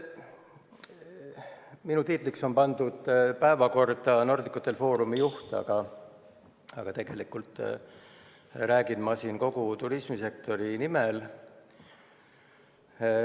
Minu tiitliks on päevakorras märgitud Nordic Hotel Forumi juht, aga tegelikult räägin ma siin kogu turismisektori nimel.